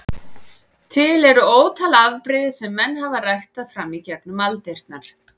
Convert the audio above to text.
Til eru ótal afbrigði sem menn hafa ræktað fram í gegnum aldirnar.